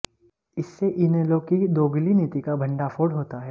इससे इनेलो की दोगुली नीति का भंडाफोड़ होता है